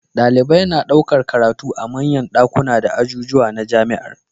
Dalibai na ɗaukar karatu a manyan dakunan da ajujuwa na jamiar